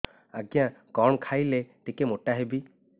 ଆଜ୍ଞା କଣ୍ ଖାଇଲେ ଟିକିଏ ମୋଟା ହେବି